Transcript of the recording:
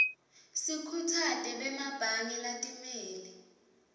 sikhutsate bemabhange latimele